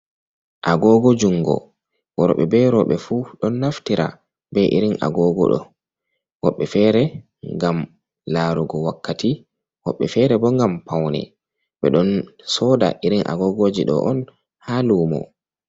Agogo jungo, worɓe be rowɓe fu don naftira be irin agogo ɗo. Woɓɓe fere ngam laarugo wakkati, woɓɓe fere bo ngam paune. Ɓe don soda irin agogoji ɗo on haa lumo.